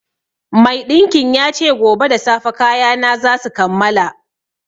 Maiɗinkin ya ce gobe da safe kayana za su kammala